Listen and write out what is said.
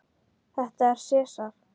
Þetta er Sesar.